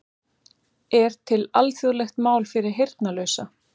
Er til alþjóðlegt mál fyrir heyrnarlausa?